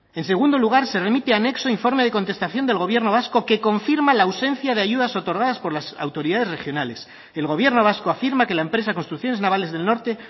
en segundo lugar se remite anexo informe de contestación del gobierno vasco que confirma la ausencia de ayudas otorgadas por las autoridades regionales el gobierno vasco afirma que la empresa construcciones navales del norte